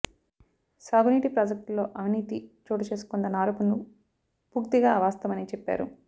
సాగు నీటి ప్రాజెక్టుల్లో అవినీతి చోటుచేసుకుందన్న ఆరోపణలు పూక్తిగా అవాస్తవమని చెప్పారు